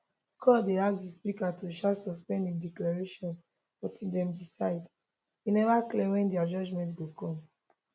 court den ask di speaker to um suspend im declaration until dem decide e never clear wen dia judgement go come